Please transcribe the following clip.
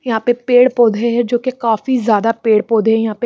यहाँ पे पेड़ पौधे है जो की काफी ज्यादा पेड़ पौधे है यहाँ पे।